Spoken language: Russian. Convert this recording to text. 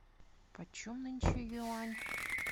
почем нынче юань